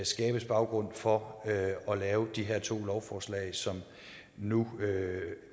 skabes baggrund for at lave de her to lovforslag som nu